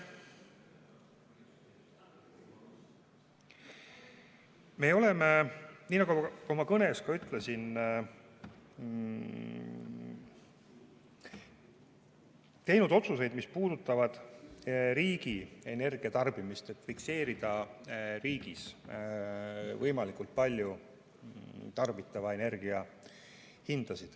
Me oleme, nii nagu ma oma kõnes ka ütlesin, teinud otsuseid, mis puudutavad riigi energiatarbimist, et võimalikult palju fikseerida riigis tarbitava energia hinda.